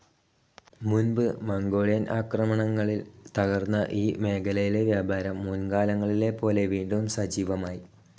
മുൻപ് മംഗോളിയൻ ആക്രമണങ്ങളിൽ തകർന്ന ഈ മേഖലയിലെ വ്യാപാരം മുൻകാലങ്ങളിലെപോലെ വീണ്ടും സജീവമായി.